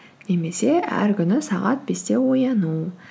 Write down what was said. немесе әр күні сағат бесте ояну